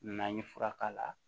N'an ye fura k'a la